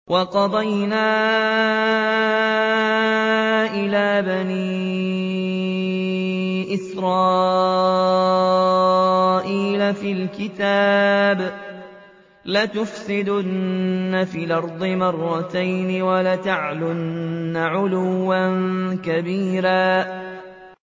وَقَضَيْنَا إِلَىٰ بَنِي إِسْرَائِيلَ فِي الْكِتَابِ لَتُفْسِدُنَّ فِي الْأَرْضِ مَرَّتَيْنِ وَلَتَعْلُنَّ عُلُوًّا كَبِيرًا